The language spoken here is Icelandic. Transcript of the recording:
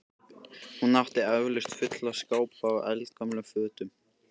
Hún átti eflaust fulla skápa af eldgömlum fötum.